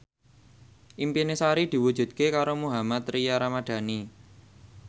impine Sari diwujudke karo Mohammad Tria Ramadhani